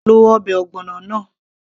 lo ọbẹ̀ ogbono náà